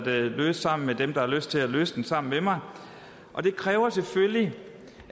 løse sammen med dem der har lyst til at løse den sammen med mig og det kræver selvfølgelig